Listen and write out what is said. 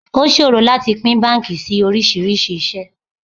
O ṣòro láti pín báńkì sí oríṣiríṣi ìṣe.